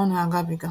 ọ na-agabiga.